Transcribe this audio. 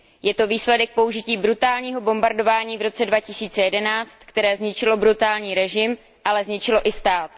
Je to výsledek použití brutálního bombardování v roce 2011, které zničilo brutální režim, ale zničilo i stát.